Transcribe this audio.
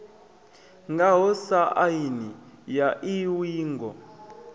ngaho sa aini ya iuingo